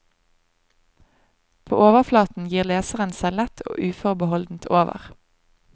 På overflaten gir leseren seg lett og uforbeholdent over.